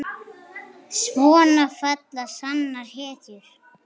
Svona falla sannar hetjur.